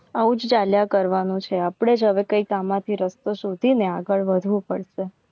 આવું જ ચાલ્યા કરવાનું છે આપણે જ હવે કંઈ કામ માંથી રસ્તો શોધીને આગળ વધવું પડશે.